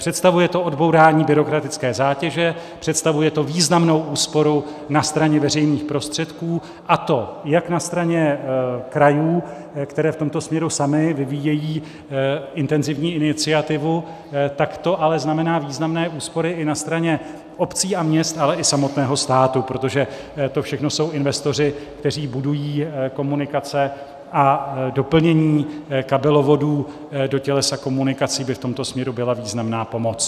Představuje to odbourání byrokratické zátěže, představuje to významnou úsporu na straně veřejných prostředků, a to jak na straně krajů, které v tomto směru samy vyvíjejí intenzivní iniciativu, tak to ale znamená významné úspory i na straně obcí a měst, ale i samotného státu, protože to všechno jsou investoři, kteří budují komunikace, a doplnění kabelovodů do tělesa komunikací by v tomto směru byla významná pomoc.